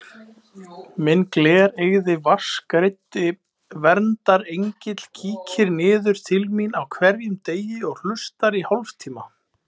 Minn glereygði vatnsgreiddi verndarengill kíkir niður til mín á hverjum degi og hlustar í hálftíma.